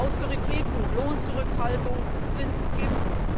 Austerität und Lohnzurückhaltung sind Gift.